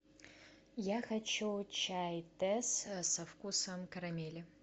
я хочу чай тесс со вкусом карамели